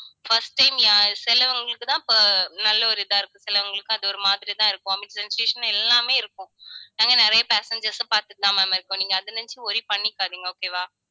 first time சிலவங்களுக்குதான் ப~ நல்ல ஒரு இதா இருக்கும் சிலவங்களுக்கு அது ஒரு மாதிரிதான் இருக்கும். vomit sensation எல்லாமே இருக்கும் நாங்க நிறைய passengers உம் பார்த்துட்டுதான் ma'am இருக்கோம். நீங்க அதை நினைச்சு worry பண்ணிக்காதீங்க. okay வா